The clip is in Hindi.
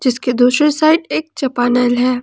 इसके दूसरे साइड एक चापानल है।